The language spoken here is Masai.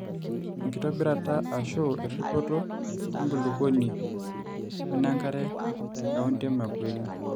enkitobirata ashu erripoto enkulukuoni wenenkare. te county emakueni